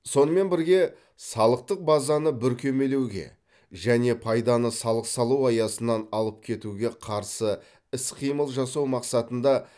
сонымен бірге салықтық базаны бүркемелеуге және пайданы салық салу аясынан алып кетуге қарсы іс қимыл жасау мақсатында